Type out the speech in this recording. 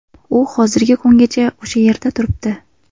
U hozirgi kungacha o‘sha yerda turibdi.